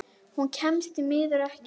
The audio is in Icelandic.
Hún kemst því miður ekki.